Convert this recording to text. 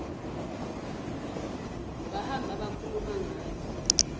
bahamba bakhuluma ngayo